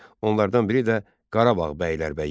Onlardan biri də Qarabağ bəylərbəyi idi.